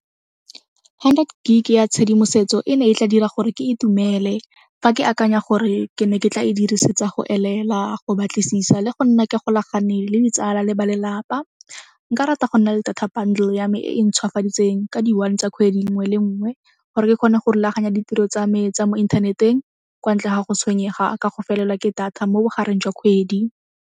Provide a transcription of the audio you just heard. Hundred gig-e ya tshedimosetso e ne e tla dira gore ke itumele. Fa ke akanya gore ke ne ke tla e dirisetsa go elela, go batlisisa le go nna ke golagane le ditsala le ba lelapa. Nka rata go nna le data bundle ya me e e ntshwafaditseng ka di one tsa kgwedi nngwe le nngwe gore ke kgone go rulaganya ditiro tsa me tsa mo inthaneteng kwa ntle ga go tshwenyega ka go felelwa ke data mo bogareng jwa kgwedi.